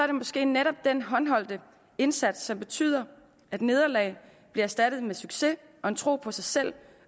det måske netop den håndholdte indsats som betyder at nederlag bliver erstattet af succes og en tro på sig selv